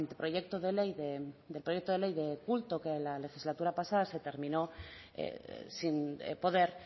anteproyecto de ley de culto que en la legislatura pasada se terminó sin poder